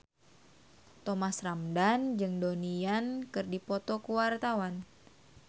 Thomas Ramdhan jeung Donnie Yan keur dipoto ku wartawan